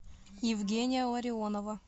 евгения ларионова